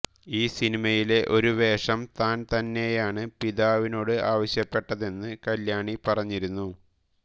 ഈ സിനിമയിലെ ഒരു വേഷം താൻ തന്നെയാണ് പിതാവിനോട് ആവശ്യപ്പെട്ടതെന്ന് കല്യാണി പറഞ്ഞിരുന്നു